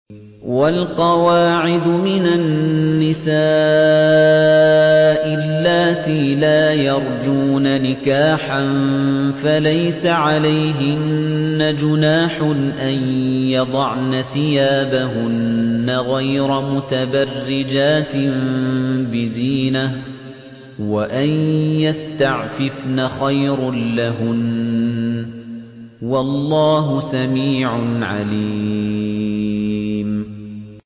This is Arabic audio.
وَالْقَوَاعِدُ مِنَ النِّسَاءِ اللَّاتِي لَا يَرْجُونَ نِكَاحًا فَلَيْسَ عَلَيْهِنَّ جُنَاحٌ أَن يَضَعْنَ ثِيَابَهُنَّ غَيْرَ مُتَبَرِّجَاتٍ بِزِينَةٍ ۖ وَأَن يَسْتَعْفِفْنَ خَيْرٌ لَّهُنَّ ۗ وَاللَّهُ سَمِيعٌ عَلِيمٌ